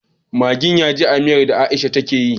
Maggin yaji a miyar da aisha take yi